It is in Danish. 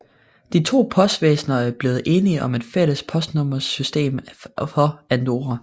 De to postvæsner er blevet enige om et fælles postnummersystem for Andorra